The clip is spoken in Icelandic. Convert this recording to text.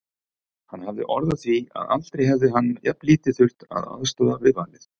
Hann hafði orð á því að aldrei hefði hann jafnlítið þurft að aðstoða við valið.